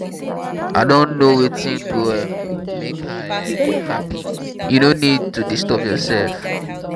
i don know wetin go um make her um happy. you no need to disturb yourself